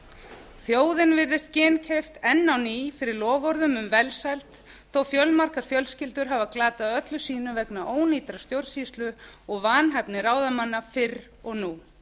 þjóðin virðist ginnkeypt enn á ný fyrir loforðum um velsæld þó að fjölmargar fjölskyldur hafi glatað öllu sínu vegna ónýtrar stjórnsýslu og vanhæfni ráðamanna fyrr og nú